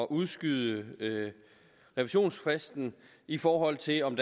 udskyde revisionsfristen i forhold til om